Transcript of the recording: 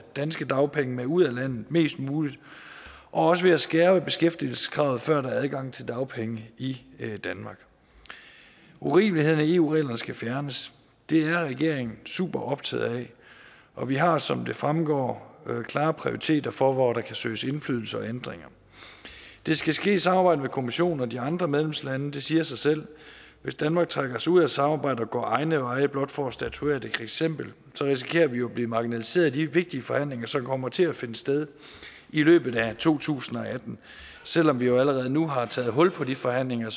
danske dagpenge med ud af landet mest muligt og også at skærpe beskæftigelseskravet før der er adgang til dagpenge i danmark urimelighederne i eu reglerne skal fjernes det er regeringen superoptaget af og vi har som det fremgår klare prioriteter for hvor der kan søges indflydelse og ændringer det skal ske i samarbejde med kommissionen og de andre medlemslande det siger sig selv hvis danmark trækker sig ud af samarbejdet og går egne veje blot for at statuere et eksempel så risikerer vi jo at blive marginaliseret i de vigtige forhandlinger som kommer til at finde sted i løbet af to tusind og atten selv om vi allerede nu har taget hul på de forhandlinger